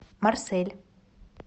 марсель